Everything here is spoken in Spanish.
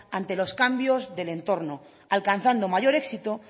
ante los cambios del entorno alcanzando mayor éxito